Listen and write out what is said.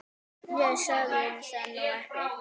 Ég sagði það nú ekki